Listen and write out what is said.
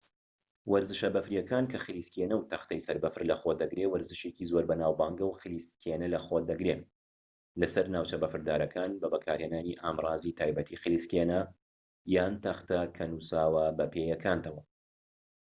وەرزشە بەفریەکان کە خلیسکێنە و تەختەی سەربەفر لەخۆ دەگرێت وەرزشێکی زۆر بەناوبانگە و خلیسکێنە لەخۆ دەگرێت لەسەر ناوچە بەفردارەکان بە بەکارهێنانی ئامڕازی تایبەتی خلیسکێنە یان تەختە کە نوساوە بە پێیەکانتەوە